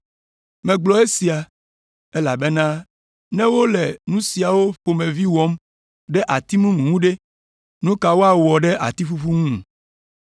Megblɔ esia, elabena ne wole nu siawo ƒomevi wɔm ɖe ati mumu ŋu ɖe, nu ka woawɔ ɖe ati ƒuƒu ŋu?”